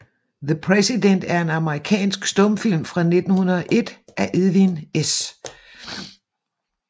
The Martyred Presidents er en amerikansk stumfilm fra 1901 af Edwin S